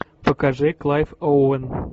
покажи клайв оуэн